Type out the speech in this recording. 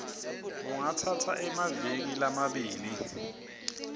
kungatsatsa emaviki lamabili